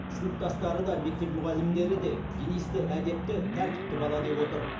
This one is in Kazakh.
сыныптастары да мектеп мұғалімдері де денисті әдепті тәртіпті бала деп отыр